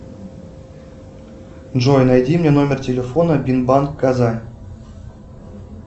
джой найди мне номер телефона бинбанк казань